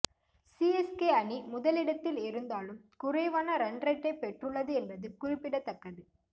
CSK அணி முதலிடத்தில் இருந்தாலும் குறைவான ரன்ரேட்டை பெற்றுள்ளது என்பது குறிப்பிடத்தக்கது